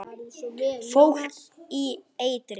Fólk í eitri